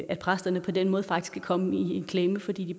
at præsterne på den måde faktisk kan komme i en klemme fordi de